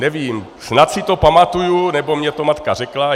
Nevím, snad si to pamatuji, nebo mi to matka řekla.